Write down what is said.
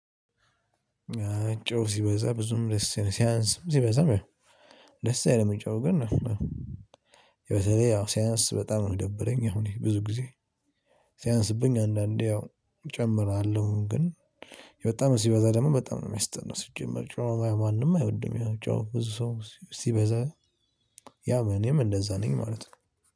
አይ ጨው ሲበዛ ብዙም ደስ ሲያንስም ሲበዛም ደስ አይልም። ጨው ግን ያው ሲያንስ በጣም ነው ሚደብረኝ። አሁን እኔ ብዙ ጊዜ ሲያንስብኝ አንዳንዴ ያው እጨምራለሁ። ግን በጣም ሲበዛ ደግሞ በጣም ነው የሚያስጠላው። ሲጀመር ሲበዛ ማንም አይወድም። ያው ጨው ብዙ ሰው ሲበዛ ያው እኔም እንደዛ ነኝ ማለት ነው